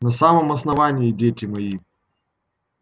на самом основании дети мои